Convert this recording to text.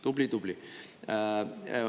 Tubli-tubli!